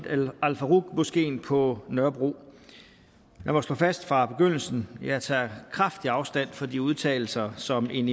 al faruq moskeen på nørrebro lad mig slå fast fra begyndelsen at jeg tager kraftigt afstand fra de udtalelser som en